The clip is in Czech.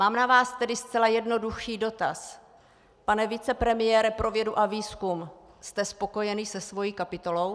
Mám na vás tedy zcela jednoduchý dotaz: Pane vicepremiére pro vědu a výzkum, jste spokojený se svou kapitolou?